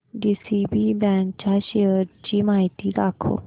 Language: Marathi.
डीसीबी बँक च्या शेअर्स ची माहिती दाखव